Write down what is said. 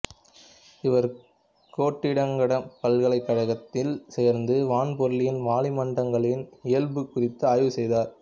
இவர் கோட்டிங்டன் பல்கலைக்கழகத்தில் சேர்ந்து வான்பொருள்களின் வளிமண்டலங்களின் இயல்புகள் குறித்து ஆய்வு செய்தார்